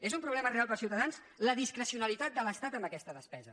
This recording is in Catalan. és un problema real per als ciutadans la discrecionalitat de l’estat en aquesta despesa